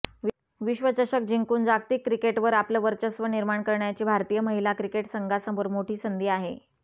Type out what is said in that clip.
विश्वचषक जिंकून जागतिक क्रिकेटवर आपलं वर्चस्व निर्माण करण्याची भारतीय महिला क्रिकेट संघासमोर मोठी संधी आहे